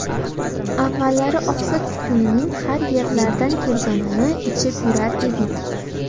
Avvallari oqsil kukunining har yerlardan kelganini ichib yurar edik.